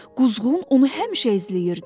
Quzğun onu həmişə izləyirdi.